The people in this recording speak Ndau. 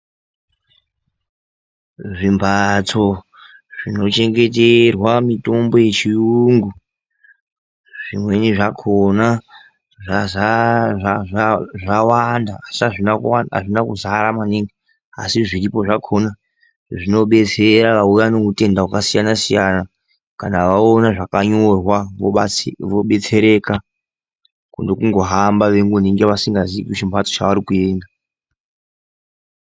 Zvimbatso zvinochengeterwa mitombo yechiyungu zvimweni zvakhona zvawanda asi azvina kuzara maningi asi zviripo zvakhona zvinodetsera auya neutenda hwakasiyana siyana kana waona zvakanyorwa wobetsereka kune kungohamba usingazivi chimbatso chaukuenda.